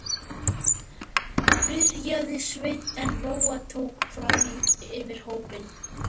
byrjaði Sveinn en Lóa tók fram í fyrir honum